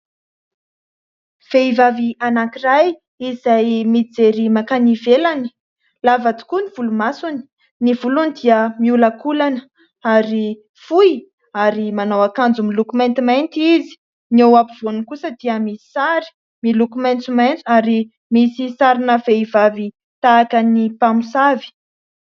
Vehivavy anankiray izay mijery mankany ivelany. Lava tokoa ny volomasony. Ny volony dia miholankolana ary fohy ary manao akanjo miloko maintimainty izy. Ny ao ampovoany kosa dia misy sary miloko maitsomaitso ary misy sarina vehivavy tahaka ny mpamosavy.